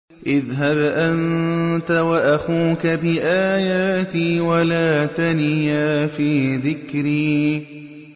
اذْهَبْ أَنتَ وَأَخُوكَ بِآيَاتِي وَلَا تَنِيَا فِي ذِكْرِي